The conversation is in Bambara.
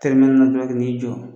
Tɛrɛmɛli la dɔrɔn k'i n'i jɔ